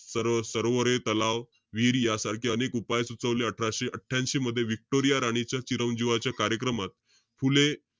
sir~ सरोवरे, तलाव, विहिरी यासारखे अनेक उपाय सुचवले अठराशे अठ्ठयांशी मध्ये व्हिक्टोरिया राणीच्या चिरावजीनाच्या कार्यक्रमात, फुले,